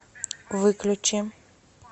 выключи